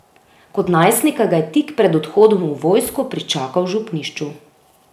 Kot najstnika ga je tik pred odhodom v vojsko pričakal v župnišču.